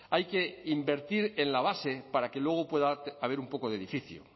hay que invertir en la base para que luego pueda haber un poco de edificio